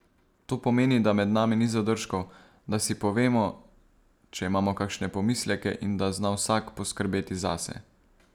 To pomeni, da med nami ni zadržkov, da si povemo, če imamo kakšne pomisleke in da zna vsak poskrbeti zase.